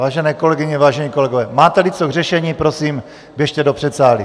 Vážené kolegyně, vážení kolegové, máte-li co k řešení, prosím, běžte do předsálí.